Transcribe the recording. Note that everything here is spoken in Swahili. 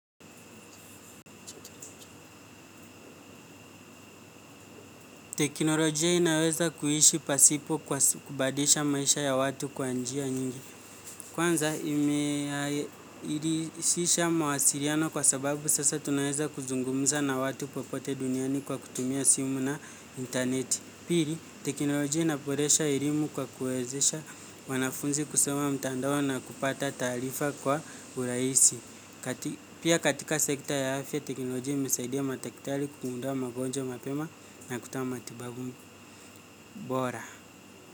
Teknolojia inaweza kuishi pasipo kubadilisha maisha ya watu kwa njia nyingi. Kwanza imerahisisha mawasiliano kwa sababu sasa tunaweza kuzungumza na watu popote duniani kwa kutumia simu na intaneti. Pili, teknolojia inaboresha elimu kwa kuwezesha wanafunzi kusoma mtandao na kupata taarifa kwa urahisi. Pia katika sekta ya afya teknolojia imesaidia madaktari kugundua magonjwa mapema na kutoa matibabu bora.